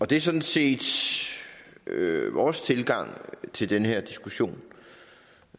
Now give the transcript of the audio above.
det er sådan set vores tilgang til den her diskussion